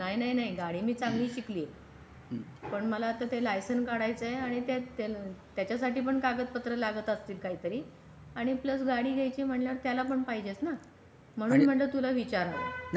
नाही नाही नाही गाडी मी चांगली शिकली आहे पण मला आता लायसन्स काढायचा आहे आणि त्याचसाठी पण कागदपत्र लागतात काहीतरी आणि प्लस गाडी घ्यायची म्हणजे त्याला पण पाहिजे ना. म्हणून म्हंटलं तुला विचारावा.